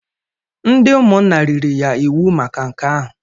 Ndị ụmụnna riri ya iwu maka nke ahụ.